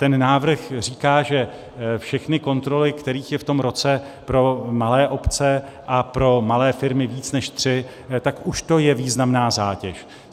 Ten návrh říká, že všechny kontroly, kterých je v tom roce pro malé obce a pro malé firmy víc než tři, tak už to je významná zátěž.